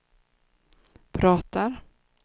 pratar